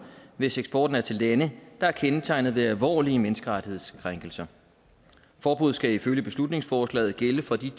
hvis eksporten er til lande der er kendetegnet ved alvorlige menneskerettighedskrænkelser forbuddet skal ifølge beslutningsforslaget gælde for de